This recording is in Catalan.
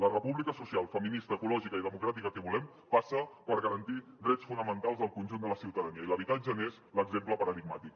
la república social feminista ecològica i democràtica que volem passa per garantir drets fonamentals del conjunt de la ciutadania i l’habitatge n’és l’exemple paradigmàtic